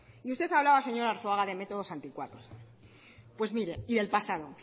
y usted ha hablado señor arzuaga de métodos anticuados y el pasado